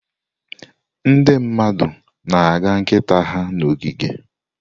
Ndị mmadụ na-aga nkịta ha n'ogige.